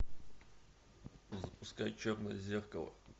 запускай черное зеркало